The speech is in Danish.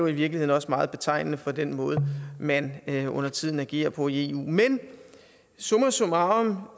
i virkeligheden også meget betegnende for den måde man undertiden agerer på i eu summa summarum